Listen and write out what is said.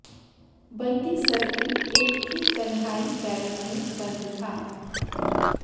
बंदी सर्किल एक की तन्हाई बैरक में बंद था